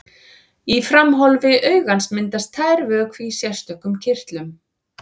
Í framhólfi augans myndast tær vökvi í sérstökum kirtlum.